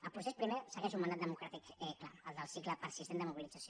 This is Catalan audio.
el procés primer segueix un mandat democràtic clar el del cicle persistent de mobilització